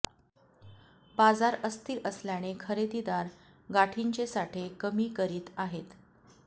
बाजार अस्थिर असल्याने खरेदीदार गाठींचे साठे कमी करीत आहेत